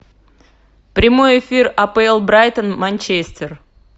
прямой эфир апл брайтон манчестер